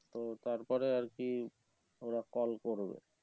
তো তারপরে আর কি ওরা call করবে